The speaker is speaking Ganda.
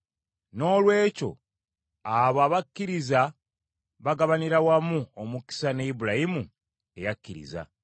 Noolwekyo abo abakkiriza bagabanira wamu omukisa ne Ibulayimu eyakkiriza.